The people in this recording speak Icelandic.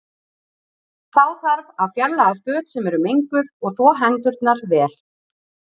Þá þarf að fjarlæga föt sem eru menguð og þvo hendurnar vel.